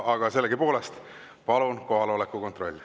Aga sellegipoolest, palun kohaloleku kontroll.